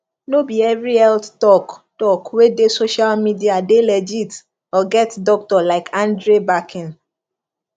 no be every health talk talk wey dey social media dey legit or get doctor like andre backing